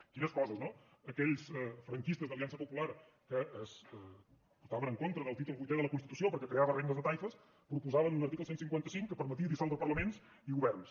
quines coses no aquells franquistes d’aliança popular que estavenen contra del títol vuitè de la constitució perquè creava regnes de taifes proposaven un article cent i cinquanta cinc que permetia dissoldre parlaments i governs